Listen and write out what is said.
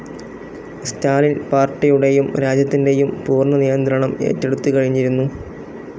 സ്റ്റാലിൻ പാർട്ടിയുടെയും രാജ്യത്തിൻ്റെയും പൂർണ നിയന്ത്രണം ഏറ്റെടുത്തുകഴിഞ്ഞിരുന്നു